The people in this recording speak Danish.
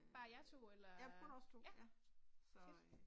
Øh, ja kun os 2, ja. Så øh